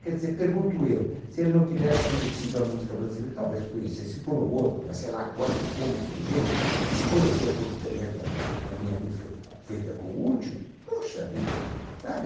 Quer dizer, pergunto eu, se ele não tivesse conhecido a música brasileira, talvez conhecesse por um outro, mas sei lá quando, como e de que jeito, mas se conheceu por um intermédio da da minha música feita com o útil, poxa vida, sabe?